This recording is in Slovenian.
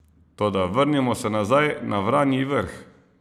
Toda vrnimo se nazaj na Vranji Vrh!